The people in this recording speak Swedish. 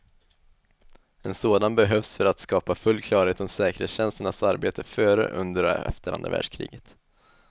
En sådan behövs för att skapa full klarhet om säkerhetstjänsternas arbete före, under och efter andra världskriget.